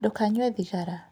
Ndũkanyue thigara